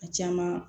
A caman